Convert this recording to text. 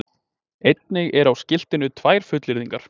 Einnig eru á skiltinu tvær fullyrðingar